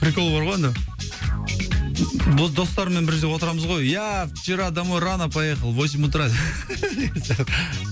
прикол бар ғой анда достарыммен бір жерде отырамыз ғой я вчера домой рано поехал восемь утра